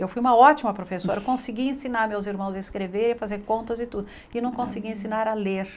Eu fui uma ótima professora, eu conseguia ensinar meus irmãos a escrever, a fazer contas e tudo, e não conseguia ensinar a ler.